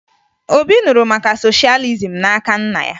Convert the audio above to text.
Obi nụrụ maka soshalizim n'aka nna ya